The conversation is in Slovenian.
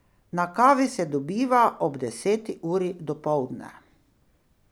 Na kavi se dobiva ob deseti uri dopoldne.